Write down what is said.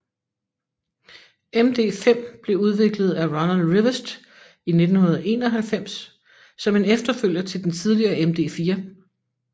MD5 blev udviklet af Ronald Rivest i 1991 som en efterfølger til den tidligere MD4